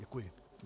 Děkuji.